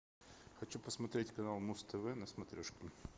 хочу посмотреть канал муз тв на смотрешке